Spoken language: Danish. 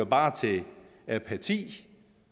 bare til apati